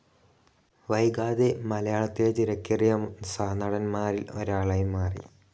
വൈകാതെ മലയാളത്തിലെ തിരക്കേറിയ സഹനടൻമാറിൽ ഒരാൾആയി മാറി